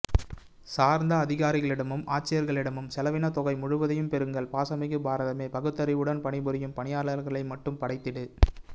சார்ந்த அதிகாரிகளிடமும் ஆட்சியாளர்களிடமும் செலவின தொகை முழுவதையும் பெறுங்கள் பாசமிகு பாரதமே பகுத்தறிவுடன் பணிபுரியும் பணியாளர்களை மட்டும் படைத்திடு